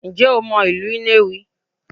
Ǹjẹ́ o mọ ìlú Nnewi?